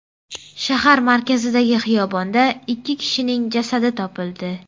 Shahar markazidagi xiyobonda ikki kishining jasadi topildi.